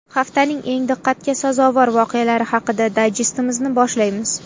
Haftaning eng diqqatga sazovor voqealari haqidagi dayjestimizni boshlaymiz.